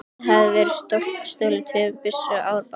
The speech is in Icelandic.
Þar hafði verið stolið tveimur byssum og árabát.